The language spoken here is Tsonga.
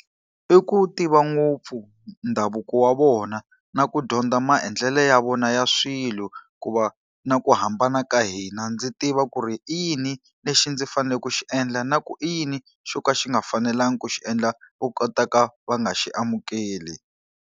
I ku tiva ngopfu ndhavuko wa vona na ku dyondza maendlelo ya vona ya swilo na ku hambana ka hina. Ndzi tiva ku ri i yini lexi ndzi fanele ku xi endla na ku i yini xo ka xi nga fanelangi ku xi endla, va nga ta ka va nga xi amukeli.